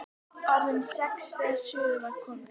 Orðin sex þegar suður var komið.